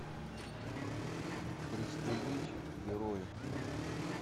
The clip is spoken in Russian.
пристрелить героя